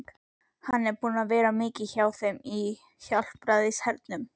Hann er búinn að vera mikið hjá þeim í Hjálpræðishernum.